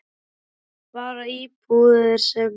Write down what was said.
Nei, bara íbúðir sem búið var að leigja